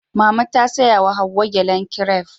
Mama ta saya wa Hauwa gyalen kiref